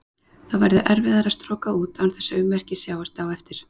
Þá verður erfiðara að stroka út án þess að ummerki sjáist á eftir.